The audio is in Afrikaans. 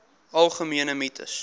algemene mites